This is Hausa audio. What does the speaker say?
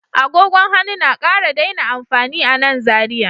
Agogon hannu na ƙara daina amfani a nan Zariya